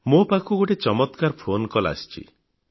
ମୋ ପାଖକୁ ଗୋଟିଏ ଚମତ୍କାର ଫୋନ କଲ ଆସିଛି